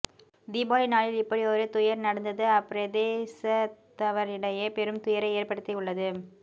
தீபாவளி நாளில் இப்படியொரு துயர் நடந்தது அப்பிரதேசத்தவரிடையே பெரும் துயரை ஏற்படுத்தியுள்ளது